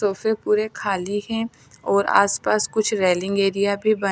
तोफे पुरे खाली है और आस पास कुछ रेलिंग एरिया भी बने--